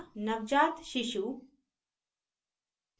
नवजात शिशु